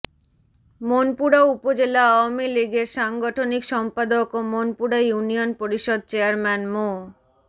মনপুরা উপজেলা আওয়ামী লীগের সাংগঠনিক সম্পাদক ও মনপুরা ইউনিয়ন পরিষদ চেয়ারম্যান মো